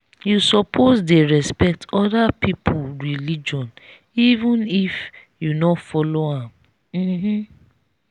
you suppose dey respect other pipu religion even if you no follow am. um